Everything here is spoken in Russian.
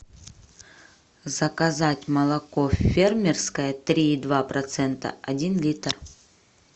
заказать молоко фермерское три и два процента один литр